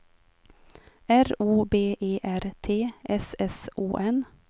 R O B E R T S S O N